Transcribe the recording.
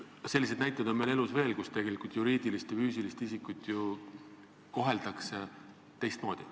Selliseid näiteid on elus veel, kui juriidilist ja füüsilist isikut koheldakse erinevalt.